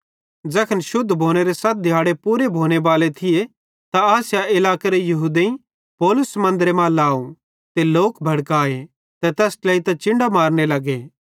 ज़ैखन शुद्ध भोनेरे सत दिहाड़े पूरे भोनेबाले थिये त आसिया इलाकेरे यहूदेईं पौलुस मन्दरे मां लाव त लोक भड़काए ते तैस ट्लेइतां चिन्डां मारने लगे